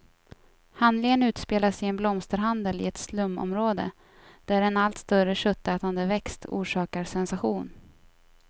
Handlingen utspelas i en blomsterhandel i ett slumområde, där en allt större köttätande växt orsakar sensation.